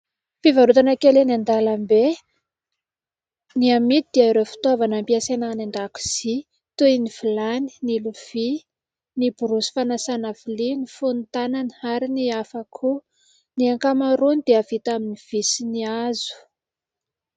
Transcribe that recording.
Fivarotana kely eny an-dalambe. Ny amidy dia ireo fitaovana ampiasaina any an-dakozia toy ny vilany, ny lovia, ny borosy fanasana vilia, ny fonon-tanana ary ny hafa koa. Ny ankamaroany dia vita amin'ny vy sy hazo.